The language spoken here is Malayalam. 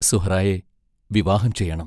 സുഹ്റായേ വിവാഹം ചെയ്യണം.